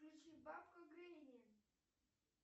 включи бабку гренни